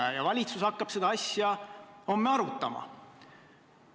Järgmine etapp, mida hakatakse arvestama, on see, millisel tasemel need kokkusaamised või välisvisiidid toimuvad.